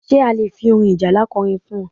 Ṣé a lè fi orin ìjálá ko orin fún ọ?